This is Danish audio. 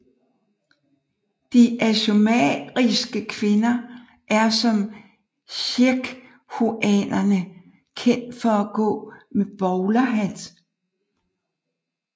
De aymariske kvinder er som Quechuaerne kendt for at gå med bowlerhat